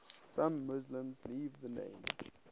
some muslims leave the name